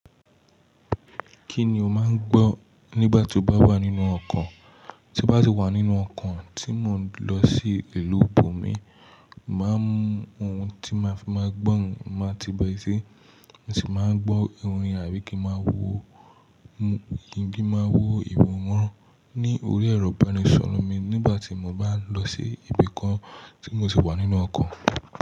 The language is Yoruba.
Kíni o máa ń gbọ́ nígbà tí o bá wà nínú ọkọ̀? Tí n bá ti wà nínú ọkọ̀ tí mò ń lọ sí ìlú ibòmí, màá mú ohun tí màá fi máa gbọ́, màá ti bọ esé, mo sì máa gbọ́ orin àbí kí máa wo mu-- kí n bí máa wo ìwọ̀nron ní orí ẹ̀rọ ibanisọ̀rọ̀ mi nígbà tí mo bá lọ sí ibi kan tí mo sì wà nínú ọkọ̀.